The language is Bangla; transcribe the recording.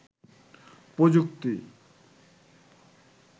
প্রযুক্তি